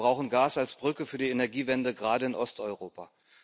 Wir brauchen Gas als Brücke für die Energiewende, gerade in Osteuropa.